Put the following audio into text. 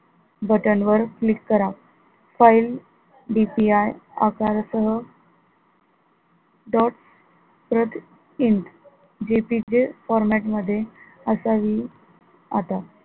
button वर click करा file DPI आकारासह dot JPEG format मध्ये असावी आता.